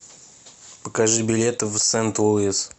покажи билет в сент луис